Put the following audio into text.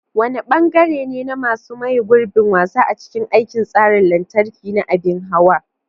Wane bangare ne masu maye gurbin wasa a cikin aikin tsarin lantarki na abin hawa?